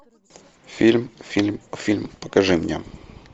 фильм фильм фильм покажи мне